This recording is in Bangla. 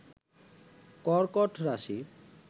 কর্কট রাশি